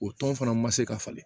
O tɔn fana ma se ka falen